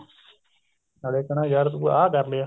ਨਾਲੇ ਕਹਿੰਦਾ ਯਾਰ ਤੂੰ ਆ ਕਰ ਲਿਆ